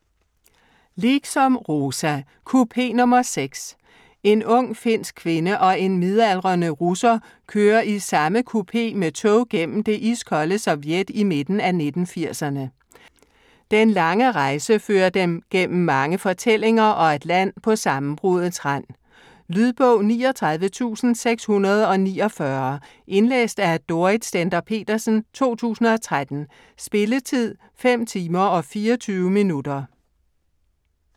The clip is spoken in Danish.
Liksom, Rosa: Kupé nr. 6 En ung, finsk kvinde og en midaldrende russer kører i samme kupé med tog gennem det iskolde Sovjet i midten af 1980'erne. Den lange rejse fører dem gennem mange fortællinger og et land på sammenbruddets rand. Lydbog 39649 Indlæst af Dorrit Stender-Petersen, 2013. Spilletid: 5 timer, 24 minutter.